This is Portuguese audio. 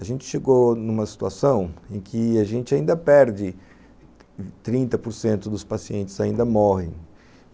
a gente chegou numa situação em que a gente ainda perde, trinta por cento dos pacientes ainda morrem.